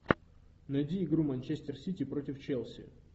найди игру манчестер сити против челси